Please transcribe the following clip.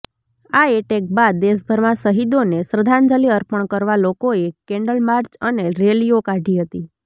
આ એટેક બાદ દેશભરમાં શહીદોને શ્રધ્ધાંજલી અપર્ણ કરવા લોકોએ કેન્ડલ માર્ચ અને રેલીઓ કાઢી હતી